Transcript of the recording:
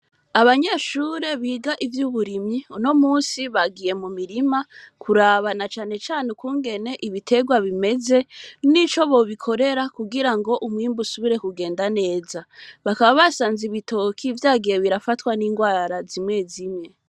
Abanyeshure biga ivy'uburimyi, uno musi bagiye mu mirima, kuraba na cane cane ukungene ibitungwa bimeze, nico bobikorera, kugira umwimbu usubire kugenda neza, bakaba basanze ibitoke vyagiye birafatwa n'ingwara zimwe zimwe.